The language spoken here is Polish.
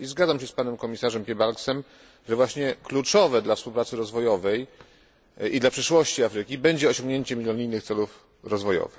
Zgadzam się z panem komisarzem Piebalgsem, że właśnie kluczowe dla współpracy rozwojowej i dla przyszłości Afryki będzie osiągnięcie milenijnych celów rozwoju.